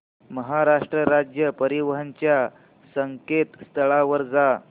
महाराष्ट्र राज्य परिवहन च्या संकेतस्थळावर जा